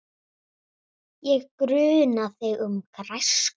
Ég gruna þig um græsku.